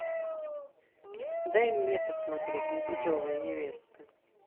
дай мне посмотреть непутевая невестка